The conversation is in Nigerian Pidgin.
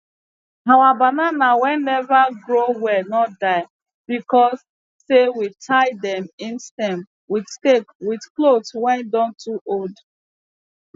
our banana wey neva grow well no die because sey we tie dem im stem with stake with cothes wey don too old